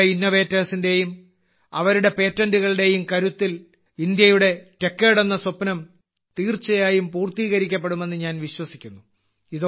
നമ്മുടെ ഇന്നോവേറ്റർസ് ന്റെയും അവരുടെ പേറ്റന്റുകളുടെയും കരുത്തിൽ ഇന്ത്യയുടെ ടെക്കേഡ് എന്ന സ്വപ്നം തീർച്ചയായും പൂർത്തീകരിക്കപ്പെടുമെന്ന് ഞാൻ വിശ്വസിക്കുന്നു